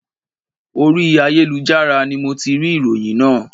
Orí ayélujára ni mo ti rí ìròyìn náà